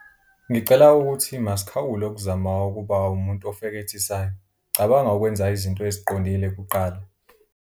Ngicela ukuthi masikhawule ukuzama ukuba umuntu ofekethisayo, cabanga ukwenza izinto eziqondile kuqala!